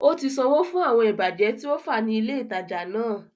Ó ti sanwó fún àwọn ìbàjẹ́ tí ó fá ní ilè ìtajà náà